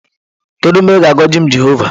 Kedu mgbe ị ga-agọzi m Jehova?